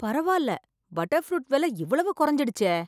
பரவால்ல butter fruit வெல இவ்வளவு கொறைஞ்சிடுச்சே